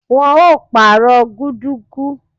Wọn ó pàrọ̀ gudug